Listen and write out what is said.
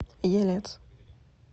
елец